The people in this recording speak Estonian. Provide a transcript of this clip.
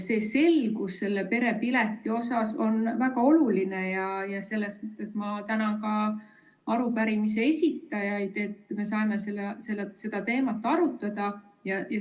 Selgus perepilet suhtes on väga oluline ja ma tänan arupärimise esitajaid, et me saame seda teemat arutada.